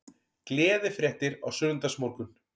Gleðifréttir á sunnudagsmorgun